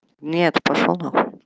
нет пошёл нахуй